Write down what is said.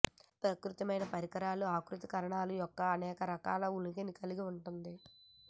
ప్రత్యేకమైన పరికరాలు ఆకృతీకరణలు యొక్క అనేక రకాల ఉనికిని కలిగి ఉంటుంది